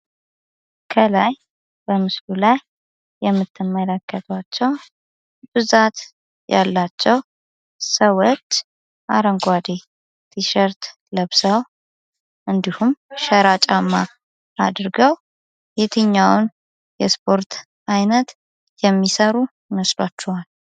ከላይ በምስሉ ላይ የምትመለከቱት ብዛት ያላቸው ሰዎች አረንጓዴ ቲሸርት ለብሰው እንዲሁም ሸራ ጫማ አድርገው የትኛውን ስፖርት አይነት የሚሰሩ ይመስላችኋል?